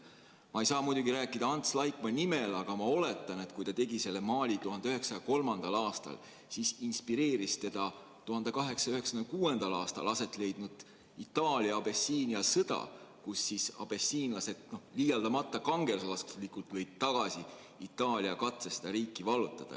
Ma ei saa muidugi rääkida Ants Laikmaa nimel, aga ma oletan, et kui ta tegi selle maali 1903. aastal, siis inspireeris teda 1896. aastal aset leidnud Itaalia-Abessiinia sõda, kus abessiinlased liialdamata kangelaslikult lõid tagasi Itaalia katse seda riiki vallutada.